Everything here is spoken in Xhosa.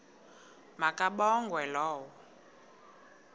ma kabongwe low